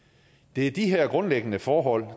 det er de her grundlæggende forhold